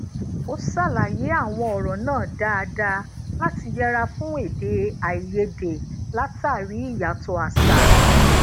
ó ṣàlàyé àwọn ọrọ náà dáadáa láti yẹra fún ede aiyede latari iyato àṣà